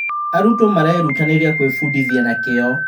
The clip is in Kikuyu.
Arutwo marerutanĩria gwĩbundithia na kĩyo.